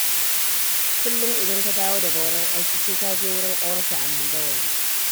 Kullum idan ta dawo daga wurin aiki, sai ta je wurin ƙawarta a Mandawari.